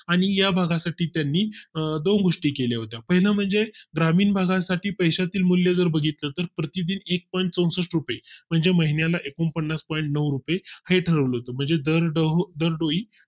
आणि या भागा च्या ठिकाणी दोन गोष्टी केले होते पहिला म्हणजे ग्रामीण भागा साठी पैशातील मूल्य जर बघितलं तर प्रतिदिन एक point चौसष्ट रुपये म्हणजे महिन्या ला एकूण पन्नास point नऊ रुपये हे ठरवले होते म्हणजे दरडोई